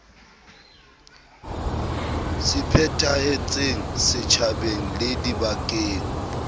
se phethahetseng setjhabeng le dibakeng